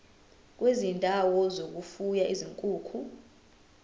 kwezindawo zokufuya izinkukhu